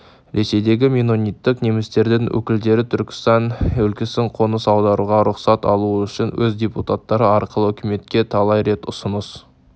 ресейдегі меннониттік немістердің өкілдері түркістан өлкесіне қоныс аударуға рұқсат алуы үшін өз депутаттары арқылы үкіметке талай рет ұсыныс